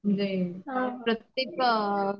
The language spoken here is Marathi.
म्हणजे हे प्रत्येक